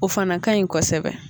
O fana kanɲi kɔsɛbɛ